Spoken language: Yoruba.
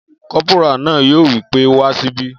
Kọ́pórà náà yóò wí pé wá síbí!